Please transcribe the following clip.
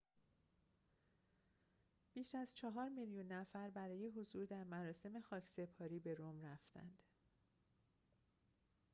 بیش از چهار میلیون نفر برای حضور در مراسم خاکسپاری به رم رفتند